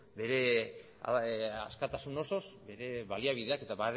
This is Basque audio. bere askatasun osoz bere baliabideak eta